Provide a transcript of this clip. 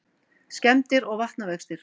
Skemmdir og vatnavextir